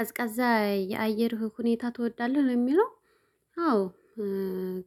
ቀዝቃዛ የአየር ሁኔታ ትወዳለህ ለሚለው? አዎ